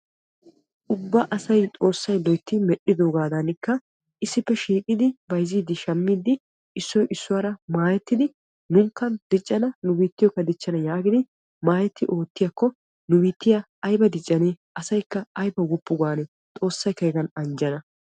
Ubba asayikka xoossay loytti medhdhidogadanikka issippe shiiqidi bayzziidinne shammidi issoy issuwaara maayettidi nuunikka diccana nu biittiyokka dichchana yaagidi maayetti oottiyaakko nu biittiyaa ayba diccanee asayikka ayba woppu gaanee xoossayikka hegan anjjana.